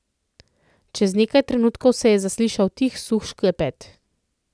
Čez nekaj trenutkov se je zaslišal tih suh šklepet.